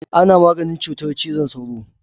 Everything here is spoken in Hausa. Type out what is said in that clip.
Ana maganin cutar cizon sauro.